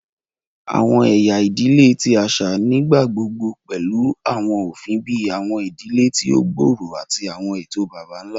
Awọn ẹya idile ti aṣa nigbagbogbo pẹlu awọn ofin bii awọn idile ti o gbooro ati awọn eto baba-nla.